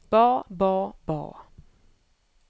ba ba ba